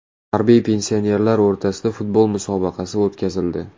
Harbiy pensionerlar o‘rtasida futbol musobaqasi o‘tkazildi.